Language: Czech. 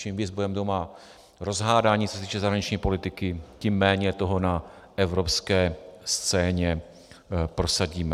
Čím víc budeme doma rozhádaní, co se týče zahraniční politiky, tím méně toho na evropské scéně prosadíme.